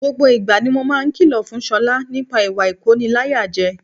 Gbogbo ìgbà ni mo máa ń kìlọ̀ fún Ṣọlá nípa ìwà ìkóniláyàjẹ